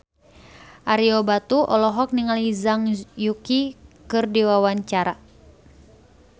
Ario Batu olohok ningali Zhang Yuqi keur diwawancara